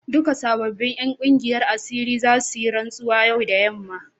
Duka sabobin 'yan kungiyar asirin za su yi rantsuwa yau da yamma.